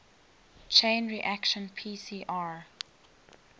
chain reaction pcr